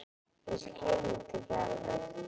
Ég skil þetta ekki alveg.